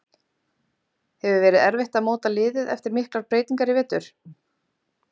Hefur verið erfitt að móta liðið eftir miklar breytingar í vetur?